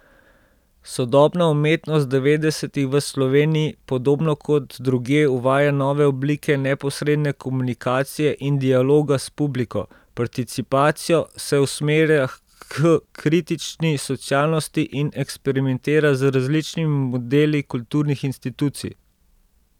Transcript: Sodobna umetnost devetdesetih v Sloveniji podobno kot drugje uvaja nove oblike neposredne komunikacije in dialoga s publiko, participacijo, se usmerja h kritični socialnosti in eksperimentira z različnimi modeli kulturnih institucij.